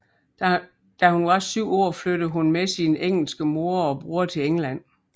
Da hun var syv år flyttede hun med sin engelske mor og bror til England